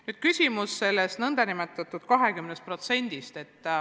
Nüüd küsimus selle lubatud 20% kohta.